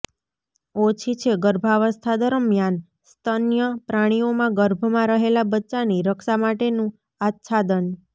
ઓછી છે ગર્ભાવસ્થા દરમિયાન સ્તન્ય પ્રાણીઓમાં ગર્ભમાં રહેલા બચ્ચાની રક્ષા માટેનું આચ્છાદન